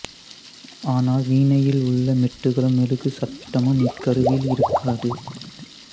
ஆனால் வீணையில் உள்ள மெட்டுகளும் மெழுகுச் சட்டமும் இக்கருவியில் இருக்காது